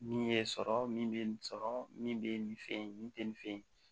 Min ye sɔrɔ min bɛ nin sɔrɔ min bɛ nin fɛ yen min tɛ nin fɛ yen